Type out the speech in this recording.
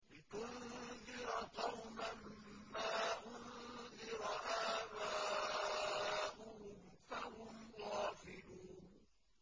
لِتُنذِرَ قَوْمًا مَّا أُنذِرَ آبَاؤُهُمْ فَهُمْ غَافِلُونَ